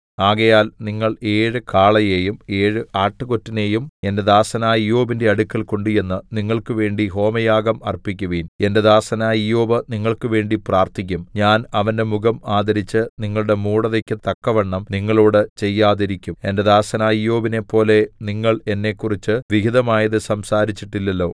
ആകയാൽ നിങ്ങൾ ഏഴ് കാളയെയും ഏഴ് ആട്ടുകൊറ്റനെയും എന്റെ ദാസനായ ഇയ്യോബിന്റെ അടുക്കൽ കൊണ്ടുചെന്ന് നിങ്ങൾക്ക് വേണ്ടി ഹോമയാഗം അർപ്പിക്കുവിൻ എന്റെ ദാസനായ ഇയ്യോബ് നിങ്ങൾക്കുവേണ്ടി പ്രാർത്ഥിക്കും ഞാൻ അവന്റെ മുഖം ആദരിച്ച് നിങ്ങളുടെ മൂഢതയ്ക്ക് തക്കവണ്ണം നിങ്ങളോട് ചെയ്യാതിരിക്കും എന്റെ ദാസനായ ഇയ്യോബിനെപ്പോലെ നിങ്ങൾ എന്നെക്കുറിച്ച് വിഹിതമായത് സംസാരിച്ചിട്ടില്ലല്ലോ